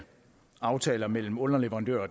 aftaler mellem underleverandør